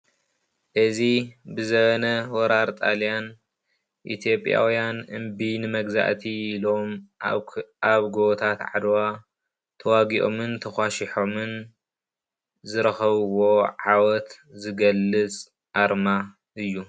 እዚ ብዘበነ ወራር ጣልያን ኢ/ያውያን እምቢ ንመግዛእቲ ኢሎም ኣብ ጎቦታት ዓድዋ ተዋጊኦምን ተኳሺሖምን ዝረኸብዎ ዓወት ዝገልፅ ኣርማ እዩ፡፡